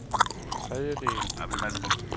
tredjedel